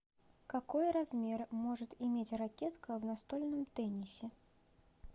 какой размер может иметь ракетка в настольном теннисе